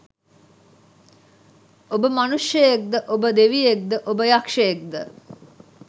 ඔබ මනුෂ්‍යයෙක්ද ඔබ දෙවියෙක්ද ඔබ යක්ෂයෙක්ද?